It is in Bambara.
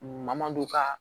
Mamadu kaa